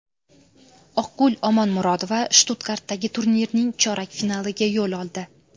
Oqgul Omonmurodova Shtutgartdagi turnirning chorak finaliga yo‘l oldi.